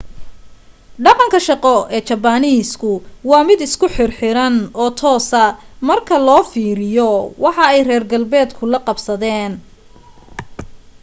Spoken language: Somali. dhaqanka shaqo ee jabaniiska waa mid isku xir xiran oo toosa marka loo fiiriyo waxa ay reer galbeedka la qabsadeen